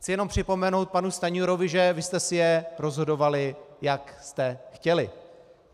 Chci jen připomenout panu Stanjurovi, že vy jste si je rozhodovali, jak jste chtěli.